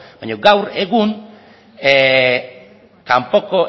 baina gaur egun kanpoko